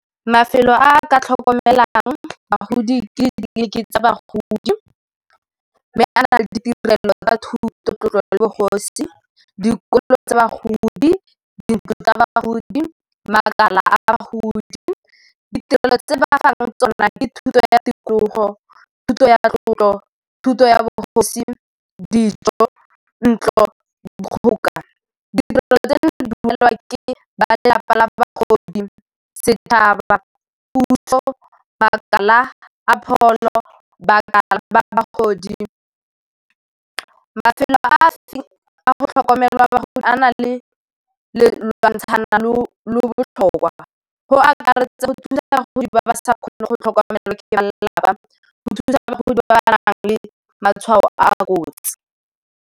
Mafelo a ka tlhokomelang bagodi ka ditleliniking tsa bagodi, mme a na le ditirelo tsa ka thuto, tlotlo le bogosi, dikolo tsa bagodi, dintlo tsa ba bagodi, makala a bagodi. Ditirelo tse ba fang tsona ke thuto ya tikologo, thuto ya matlotlo thuto ya bogosi dijo ntlo dikgoka ditirelo tseno di dumelelwa ke ba lelapa la ba bagodi sethaba bagodi. Mafelo a a go tlhokomelwa bagodi a nang le le lwantshana le go akaretsa go thusa bagodi ba ba sa kgone go tlhokomelwa ke ba lelapa go thusa bagodi ba ba nang le matshwao a a kotsi.